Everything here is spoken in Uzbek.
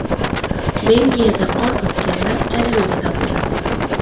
Belgiyada qor otganlar jarimaga tortiladi.